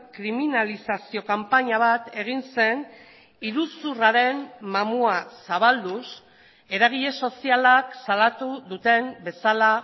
kriminalizazio kanpaina bat egin zen iruzurraren mamua zabalduz eragile sozialak salatu duten bezala